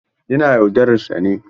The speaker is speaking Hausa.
Yana yaudarar sa ne?